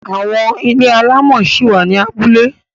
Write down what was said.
Àwọn ilé alámọ̀ ṣi wà ní abúlé.